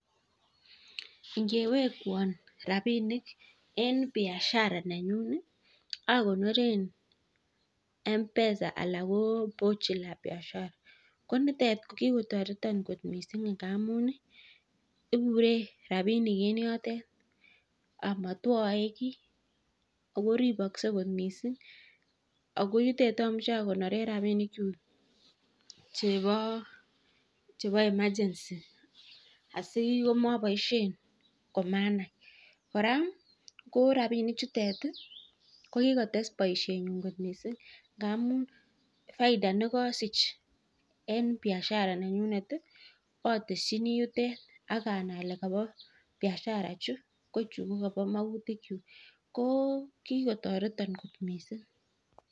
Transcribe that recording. Ingewekwan rabinik en b biashara nenyun ih akonoren mpesa anan ko bochi la biashara ko nitet ko kikotareton kot missing ngamun ih ibure rabinik en yoto amatuae ki Ako ribakse kot missing ako yutet amuche akonoren rabinik chebo emergency asimaboisien komanai kora ko rabinik chutet ih ko kikotesak baisien nyun kot missing ngamuun faita nekasich en biashara nenyunet ih atesieni yutet akanai ale kabo biashara chu ko chu kabo magutik chuk ko kikotareton missing